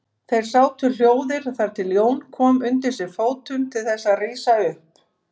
Þeir sátu hljóðir þar til Jón kom undir sig fótum til þess að rísa upp.